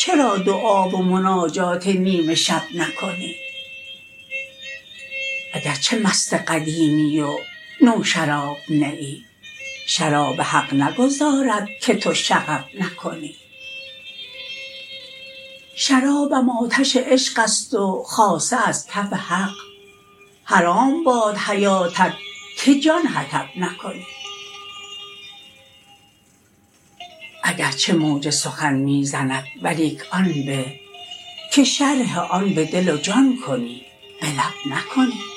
چرا دعا و مناجات نیم شب نکنی اگر چه مست قدیمی و نوشراب نه ای شراب حق نگذارد که تو شغب نکنی شرابم آتش عشقست و خاصه از کف حق حرام باد حیاتت که جان حطب نکنی اگر چه موج سخن می زند ولیک آن به که شرح آن به دل و جان کنی به لب نکنی